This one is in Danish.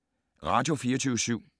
Radio24syv